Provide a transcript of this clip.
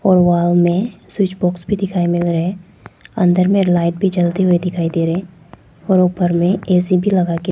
और वॉल में switch box भी दिखाई मिल रहे है अंदर में लाइट भी जलते हुए दिखाई दे रहे है और ऊपर में ए_सी भी लगा के--